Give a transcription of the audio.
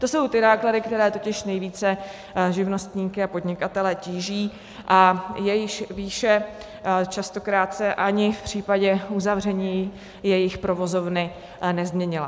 To jsou ty náklady, které totiž nejvíce živnostníky a podnikatele tíží a jejichž výše častokrát se ani v případě uzavření jejich provozovny nezměnila.